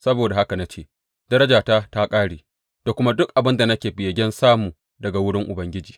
Saboda haka na ce, Darajata ta ƙare da kuma duk abin da nake begen samu daga wurin Ubangiji.